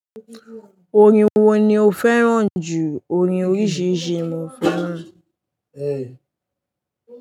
Orin wo ni o fẹ́ràn jù orin oríṣiríṣi mo fẹ́ràn.